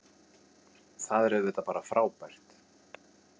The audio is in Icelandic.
Það er auðvitað bara frábært